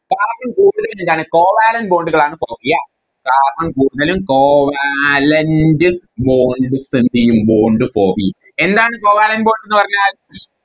Carbon കൂടുതലും എന്താണ് Covalent bond കളാണ് Form ചെയ്യാ carbon കൂടുതലും Covalent bond തന്നെയും Bond എന്താണ് Covalent bond എന്ന് പറഞ്ഞാൽ